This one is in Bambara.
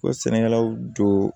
Ko sɛnɛkɛlaw don